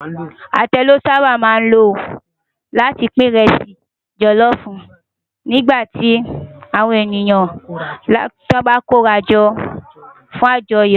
Atẹ lò sàbá má ló láti pin ìrẹsì jòlòfú nigbá ti áwòn eniyàn bá kórájò fún ájòyò